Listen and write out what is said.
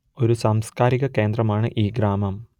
ഒരു സാംസ്കാരിക കേന്ദ്രമാണ് ഈ ഗ്രാമം